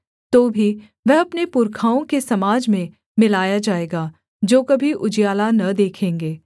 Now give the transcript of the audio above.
तो भी वह अपने पुरखाओं के समाज में मिलाया जाएगा जो कभी उजियाला न देखेंगे